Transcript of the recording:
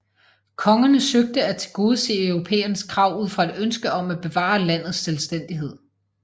Kongerne søgte at tilgodese europæernes krav ud fra et ønske om at bevare landets selvstændighed